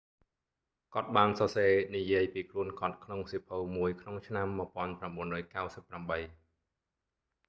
គាត់បានសរសេរនិយាយពីខ្លួនគាត់ក្នុងសៀវភៅមួយក្នុងឆ្នាំ1998